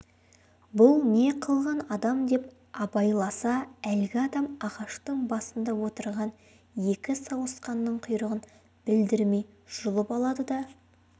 бұл не қылған адам деп абайласа әлгі адам ағаштың басында отырған екі сауысқанның құйрығын білдірмей жұлып алады да